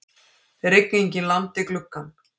Rigningin lamdi gluggann.